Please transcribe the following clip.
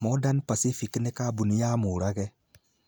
Modern Pacific nĩ kambuni ya Murage.